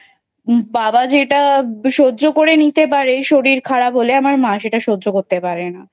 বাবা যেটা সহ্য করে নিতে পারে শরীর খারাপ হলে আমার মা সেটা সহ্য করতে পারে না।